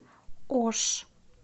ош